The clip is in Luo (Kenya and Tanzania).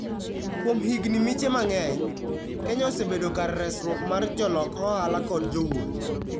Kuom higini miche mang'eny, Kenya osebedo kar resruok mar jolok ohala koda jowuoth.